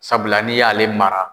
Sabula ni y'ale mara